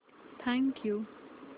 thank you